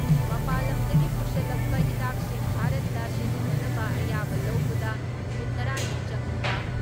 ꯃꯄꯥꯟ ꯂꯝꯗꯒꯤ ꯄꯨꯁꯤꯜꯂꯛꯄ ꯍꯤꯗꯥꯛꯁꯤꯡ ꯚꯥꯔꯠꯇ ꯁꯤꯖꯤꯟꯅꯅꯕ ꯑꯌꯥꯕ ꯂꯧꯕꯗ ꯅꯨꯃꯤꯠ ꯇꯔꯥ ꯅꯤ ꯆꯪꯂꯤꯕ